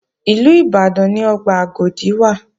Ìlú Ìbàdàn ni ọgbà Agodi wà